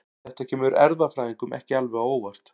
Þetta kemur erfðafræðingum ekki alveg á óvart.